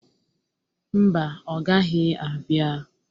Mba, ọ gaghị abia.